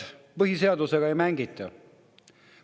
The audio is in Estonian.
Põhiseadusega ei mängita.